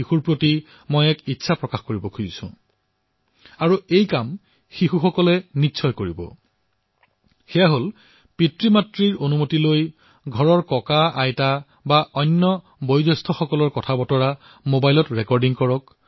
শিশুসকল মোৰ এই আহ্বান ৰক্ষা কৰিবনে মই আপোনালোকলৈ আহ্বান জনাইছো যে যেতিয়াই সময় পায় পিতৃমাতৃক সুধি মবাইলটো লওক আৰু নিজৰ ককাআইতাক অথবা ঘৰত যিজন লোক বয়স্ক তেওঁলোকৰ সাক্ষাৎকাৰ ৰেকৰ্ড কৰক